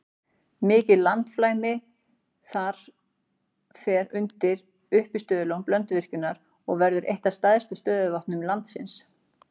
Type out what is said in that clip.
Mikið landflæmi þar fer undir uppistöðulón Blönduvirkjunar og verður eitt af stærstu stöðuvötnum landsins.